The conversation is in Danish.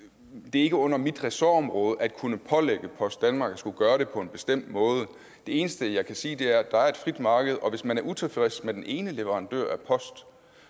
er ikke under mit ressortområde at kunne pålægge post danmark at skulle gøre det på en bestemt måde det eneste jeg kan sige er at der er et frit marked og hvis man er utilfreds med den ene leverandør af post